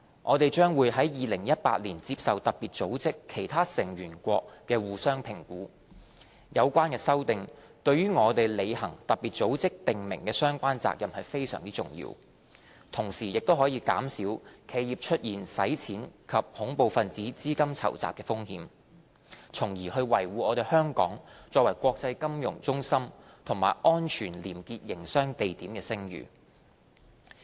香港將會在2018年接受特別組織其他成員國的相互評估，有關修訂對於我們履行特別組織訂明的相關責任非常重要，同時可減少企業出現洗錢及恐怖分子資金籌集的風險，從而維護香港作為國際金融中心及安全廉潔營商地點的聲譽。